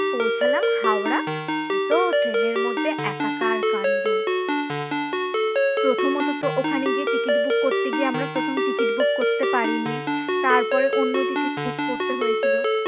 পৌছালাম হাওড়া সে তো ট্রেনের মধ্যে একাকার কান্ড প্রথমত তো ওখানে গিয়ে ticket book করতে গিয়ে আমরা প্রথম ticket book করতে পারিনি। তারপরে অন্য ticket book করতে হয়েছিল